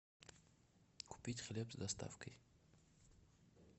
купить хлеб с доставкой